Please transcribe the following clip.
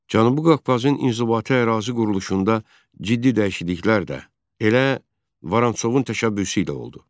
Cənubi Qafqazın inzibati ərazi quruluşunda ciddi dəyişikliklər də elə Vorontsovun təşəbbüsü ilə oldu.